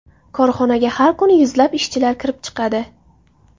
Korxonaga har kuni yuzlab ishchilar kirib chiqadi.